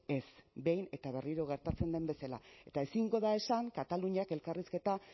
ez behin eta berriro gertatzen den bezala eta ezingo da esan kataluniak elkarrizketa